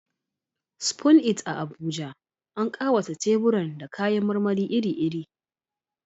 Spoon It a Abuja, an ƙawata teburan da kayan marmari iri-iri.